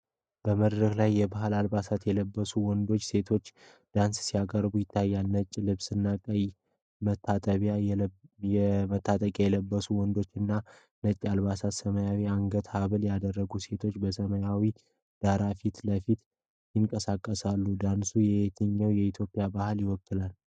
በመድረክ ላይ የባህል አልባሳትን የለበሱ ወንዶችና ሴቶች ዳንስ ሲያቀርቡ ይታያል:: ነጭ ልብስና ቀይ መታጠቂያ የለበሱት ወንዶች እና ነጭ አልባሳትና ሰማያዊ የአንገት ሀብል ያደረጉት ሴቶች በሰማያዊ ዳራ ፊት ለፊት ይንቀሳቀሳሉ ፡፡ ዳንሱ የየትኛውን የኢትዮጵያ ባህል ይወክላል?